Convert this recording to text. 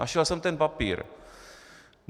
Našel jsem ten papír.